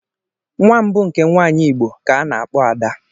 Nwa mbu nke nwanyị igbo ka ana akpo ada.